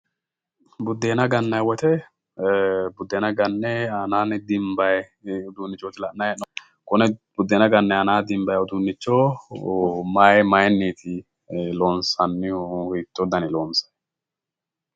Buddeena gannay woyte buddeena ganne aanaanni dinbay uduunnichooti la'nay he'noommo konne buddeena ganne aana dinbay uduunnicho may mayiinniti loonsannihu hiitto dani loonsanni?